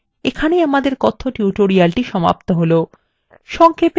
এইখানে আমাদের কথ্য tutorial সমাপ্ত হলো